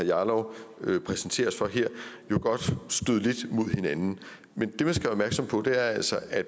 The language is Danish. jarlov præsenterer os for her jo godt støde lidt mod hinanden men det man skal være opmærksom på er altså at